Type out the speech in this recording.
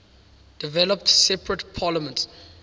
developed separate parliaments